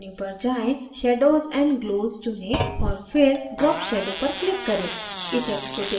filters menu पर जाएँ shadows and glows चुनें और फिर drop shadow पर click करें